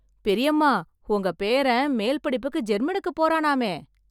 பெரியம்மா, உங்க பேரன் மேல் படிப்புக்கு ஜெர்மனுக்கு போறானாமே...